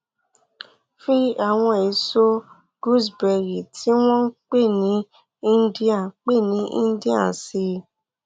fi àwọn èso gooseberry tí wọn ń pè ní indian pè ní indian sí i